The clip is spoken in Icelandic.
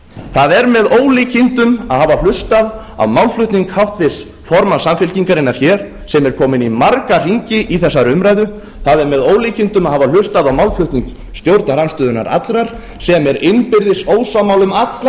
það er með ólíkindum að hafa hlustað á málflutning háttvirts formanns samfylkingarinnar hér sem er komin í marga hringi í þessari umræðu það er með ólíkindum að hafa hlustað á málflutning stjórnarandstöðunnar allrar sem er innbyrðis ósammála um alla